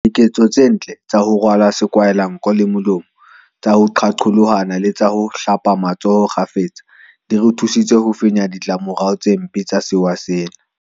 Diketso tse ntle tsa ho kgwe sa sekwahelanko le molomo, tsa ho qaqolohana le tsa ho hatlela matsoho kgafetsa di re thusitse ho fenya ditla morao tse mpempe tsa sewa sena.